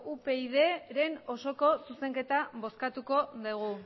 upydren osoko zuzenketa bozkatuko dugu